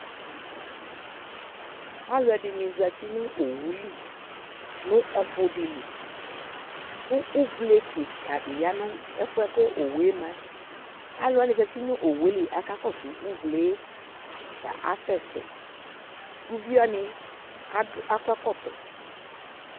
Alʋ ɛdini zati nʋ owu li nʋ ɔfʋ di li kʋ uvle kika di ya nʋ ɛfuɛ kʋ owu yɛ ma yɛ Alʋ wani zati nʋ owu yɛ li kakɔsʋ ʋvle e, ta asɛsɛ Uvi wani adu, akɔ ɛkɔtɔ